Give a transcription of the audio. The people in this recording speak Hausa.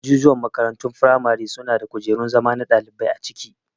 Ajujuwan makarantun firamare suna da kujerun zama na ɗalibai a ciki